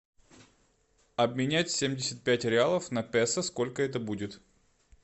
обменять семьдесят пять реалов на песо сколько это будет